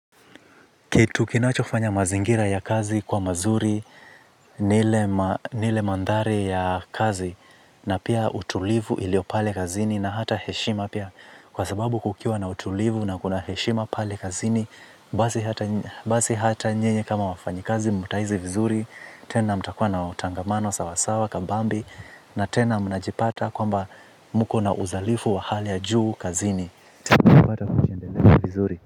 Kitu kinachofanya mazingira ya kazi kuwa mazuri, ni ile mandhari ya kazi, na pia utulivu iliopale kazini na hata heshima pia. Kwa sababu kukiwa na utulivu na kuna heshima pale kazini, basi hata nyinyi kama wafanyikazi mtahisi vizuri, tena mtakua na utangamano sawasawa kabambe, na tena mnajipata kwamba mko na uzalifu wa hali ya juu kazini.